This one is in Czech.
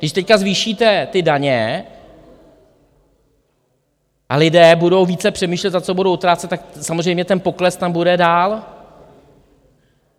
Když teď zvýšíte ty daně a lidé budou více přemýšlet, za co budou utrácet, tak samozřejmě ten pokles tam bude dál.